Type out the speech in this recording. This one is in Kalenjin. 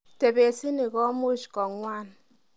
Tebesini komuch kong'wan.